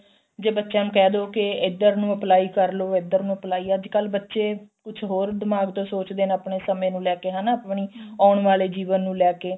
ਜੇ ਬੱਚਿਅਨ ਨੂੰ ਕਹਿਦੋ ਕੇ ਇੱਧਰ ਨੂੰ apply ਕਰਲੋ ਇੱਧਰ ਨੂੰ apply ਅੱਜਕਲ ਬੱਚੇ ਕੁੱਝ ਹੋਰ ਦਿਮਾਗ ਤੋਂ ਸੋਚਦੇ ਨੇ ਆਪਣੇ ਸਮੇਂ ਨੂੰ ਲੈ ਕੇ ਹਨਾ ਆਪਣੀ ਆਉਣ ਵਾਲੇ ਜੀਵਨ ਨੂੰ ਲੈ ਕੇ